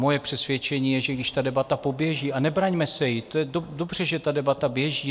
Moje přesvědčení je, že když ta debata poběží - a nebraňme se jí, to je dobře, že ta debata běží.